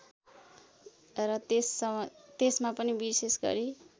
र त्यसमा पनि विशेषगरी